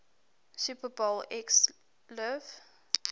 super bowl xliv